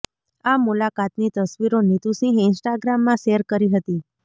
આ મુલાકાતની તસવીરો નીતુ સિંહે ઈન્સ્ટાગ્રામમાં શૅર કરી હતી